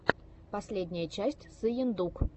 последняя часть сыендук